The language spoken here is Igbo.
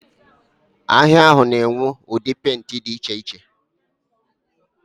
Ahịa ahụ na-enwe ụdị pentị dị iche iche.